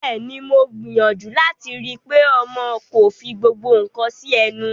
Bẹ́ẹ̀ ni, mo gbìyàjú láti rí i pé ọmọ kò fí gbogbo nǹkan sí ẹnu.